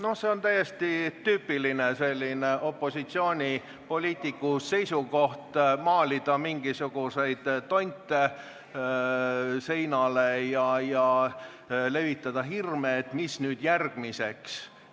Noh, see on täiesti tüüpiline opositsioonipoliitiku soov maalida seinale mingisuguseid tonte ja levitada hirme, mis nüüd järgmiseks tuleb.